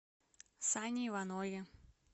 сане иванове